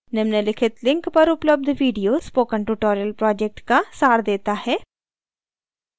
निम्नलिखित link पर उपलब्ध video spoken tutorial project का सार देता है